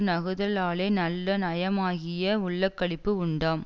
நகுதலாலே நல்ல நயமாகிய உள்ளக்களிப்பு உண்டாம்